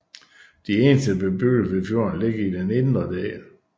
De eneste bebyggelser ved fjorden ligger i den indre del